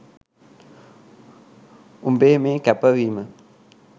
උඹේ මේ කැපවීම